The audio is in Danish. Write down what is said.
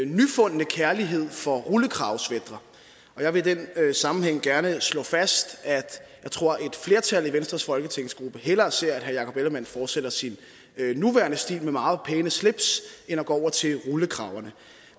nyfundne kærlighed for rullekravesweatre jeg vil i den sammenhæng gerne slå fast at jeg tror at et flertal i venstres folketingsgruppe hellere ser at herre jakob ellemann jensen fortsætter sin nuværende stil med meget pæne slips end at gå over til rullekraverne